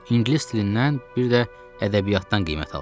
İngilis dilindən bir də ədəbiyyatdan qiymət aldım.